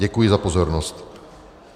Děkuji za pozornost.